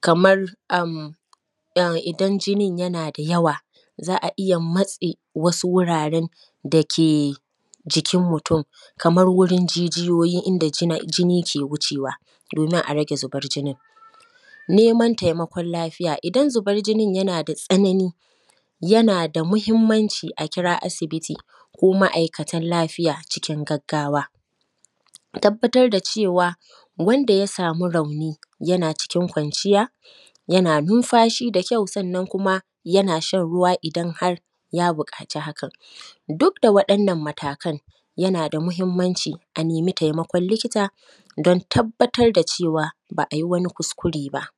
kamar am, en idan jinin yana da yawa, za a iya matse wasu wuraren da ke jikin mutun. Kamar wurin jijiyoyi inda jina; jini ke wucewa, domin a rage zibar jinin. Neman taimakon lafiya, idan zibar jinin yana da tsanani, yana da mahimmanci a kira asibiti ko ma’aikatal lafiya cikin gaggawa. Tabbatad da cewa, wanda ya sami rauni, yana cikin kwanciya, yana numfashi da kyau, sannan kuma yana shan ruwa idan har ya biƙaci hakan. Duk da waɗannan matakan, yana da muhimmanci a nemi taimakon likita don tabbatar da cewa, ba ai wani kuskure ba.